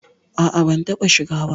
A'a ban taɓa shiga ba.